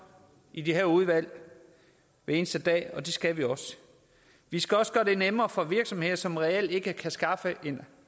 i de her udvalg hver eneste dag og det skal vi også vi skal også gøre det nemmere for virksomheder som reelt ikke kan skaffe